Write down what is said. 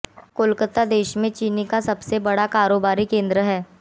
कोलकाता देश में चीनी का सबसे बड़ा कारोबारी केंद्र है